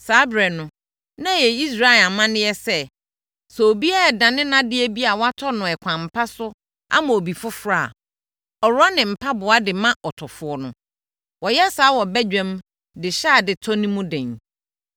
Saa ɛberɛ no, na ɛyɛ Israel amanneɛ sɛ, sɛ obiara redane nʼadeɛ bi a watɔ no ɛkwan pa so ama obi foforɔ a, ɔworɔ ne mpaboa de ma ɔtɔfoɔ no. Wɔyɛ saa wɔ badwa mu de hyɛ adetɔ no mu den.